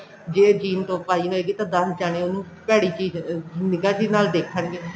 ਜੇ jean top ਪਾਈ ਹੋਏਗੀ ਤਾਂ ਦੱਸ ਜਣੇ ਉਹਨੂੰ ਭੈੜੀ ਚੀਜ਼ ਅਹ ਨਿਗਾਹ ਜੀ ਨਾਲ ਦੇਖਣਗੇ